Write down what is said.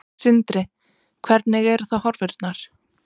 Sindri: Hvernig eru þá horfurnar?